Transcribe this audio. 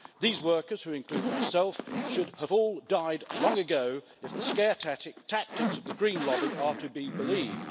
These workers, who include myself, should have all died long ago if the scare tactics of the green lobby are to be believed.